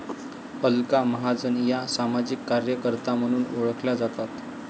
अलका महाजन या सामाजिक कार्यकर्त्या म्हणून ओळखल्या जातात